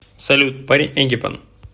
салют парень эгипан